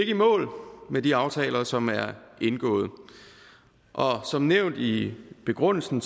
i mål med de aftaler som er indgået og som nævnt i begrundelsen